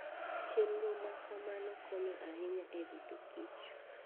Chenro ma kamano konyo ahinya e rito kich.